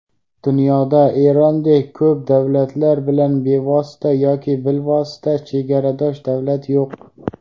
dunyoda Erondek ko‘p davlatlar bilan bevosita yoki bilvosita chegaradosh davlat yo‘q.